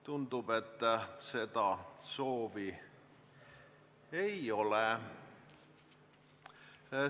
Tundub, et seda soovi ei ole.